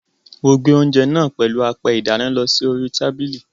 Mo gbé oúnjẹ náà pèlú apẹ ìdáná lọ sí orí tábìlì.